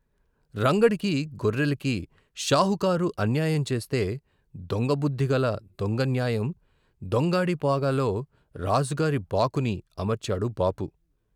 రంగడికీ గొర్రెలకీ షావుకారు అన్యాయం చేస్తే దొంగ బుద్ధిగల దొంగ న్యాయం దొంగాడి పాగాలో రాజుగారి బాకుని అమర్చాడు బాపు.